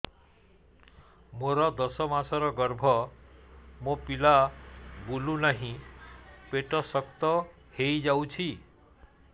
ମୋର ଦଶ ମାସର ଗର୍ଭ ମୋ ପିଲା ବୁଲୁ ନାହିଁ ପେଟ ଶକ୍ତ ହେଇଯାଉଛି